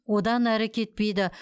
одан әрі кетпейді